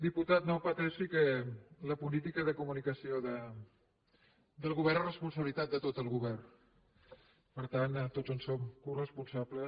diputat no pateixi que la política de comunicació del govern és responsabilitat de tot el govern per tant tots en som coresponsables